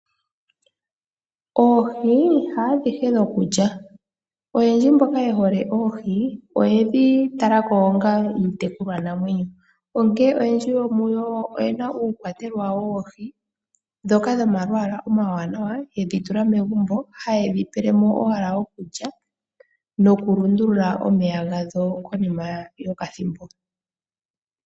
Oohi haadhihe dhokulya. Oyendji mboka ye hole oohi, oyedhi tala ko onga iitekulwanamwenyo, onkene oyendji yomuyo oye na uukwatetelwa wawo woohi ndhoka dhomalwaala omawanawa, yedhi tula megumbo, haye dhi pele mo owala okulya nokulundulula omeya gadho konima yokathimbo.